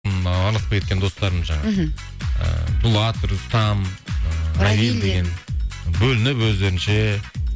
ммм ы араласпай кеткен достарым жаңағы мхм ы дулат рустам ы равиль деген бөлініп өздерінше